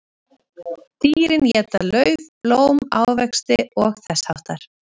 Dýrin éta lauf, blóm, ávexti og þess háttar.